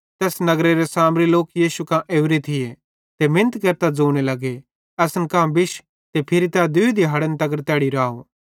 ज़ैस नगरेरे सामरी लोक यीशु कां ओरे थिये मिनत केरतां ज़ोने लगे असन कां बिश फिरी तै दूई दिहाड़े तैड़ी राव